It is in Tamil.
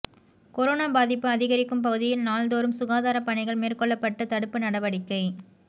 கொரோனா பாதிப்பு அதிகரிக்கும் பகுதியில் நாள்தோறும் சுகாதார பணிகள் மேற்கொள்ளப்பட்டு தடுப்பு நடவடிக்கை